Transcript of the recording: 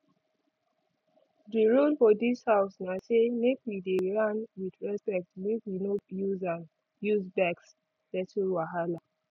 di rule for dis house na say make we dey yarn with respect make we no use vex settle wahala